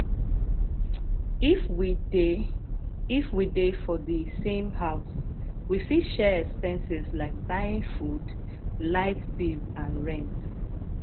if we dey if we dey for di same house we fit share expenses like buying food light bill and rent